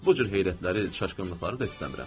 Bu cür heyrətləri, çaşqınlıqları da istəmirəm.